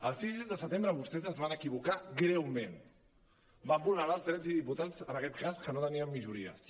el sis i set de setembre vostès es van equivocar greument van vulnerar els drets dels diputats en aquest cas que no teníem majoria sí